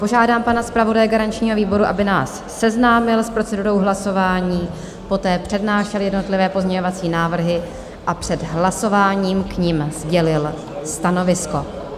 Požádám pana zpravodaje garančního výboru, aby nás seznámil s procedurou hlasování, poté přednášel jednotlivé pozměňovací návrhy a před hlasováním k nim sdělil stanovisko.